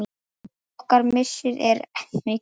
Okkar missir er mikill.